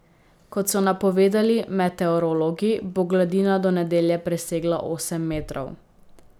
Kot so napovedali meteorologi, bo gladina do nedelje presegla osem metrov.